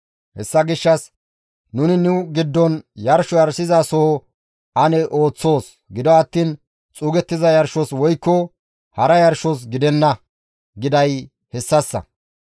«Hessa gishshas, ‹Nuni nu giddon yarsho yarshizasoho ane ooththoos; gido attiin xuugettiza yarshos woykko hara yarshos gidenna› giday hessassa.